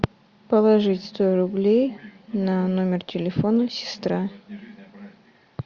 положить сто рублей на номер телефона сестра